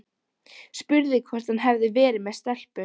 Spurði hvort hann hefði verið með stelpu.